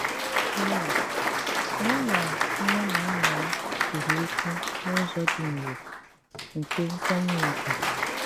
Mìn: “Mụ nà nnè nà nnà m kwụrụ òkwù n'ụzọ dị nrò, nkè nkwànyè ùgwù.